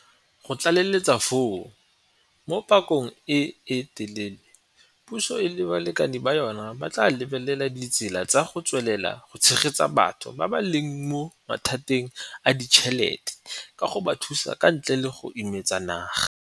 Go tlaleletsa foo, mo pakeng e e telele puso le balekane ba yona ba tla lebelela ditsela tsa go tswelela go tshegetsa batho ba ba leng mo mathateng a ditšhelete ka go ba thusa ka ntle le go imetsa naga.